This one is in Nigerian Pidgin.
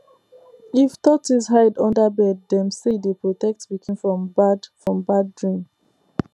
if tortoise hide under bed dem say e dey protect pikin from bad from bad dream